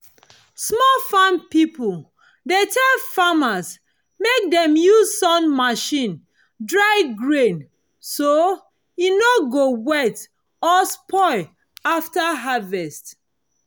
small farm people dey tell farmers mek dem use sun machine dry grain so e no go wet or spoil after harvest